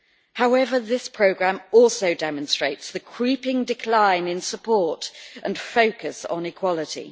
However, this programme also demonstrates the creeping decline in support and focus on equality.